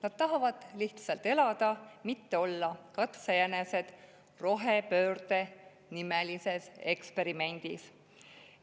Nad tahavad lihtsalt elada, mitte olla katsejänesed rohepöördenimelises eksperimendis.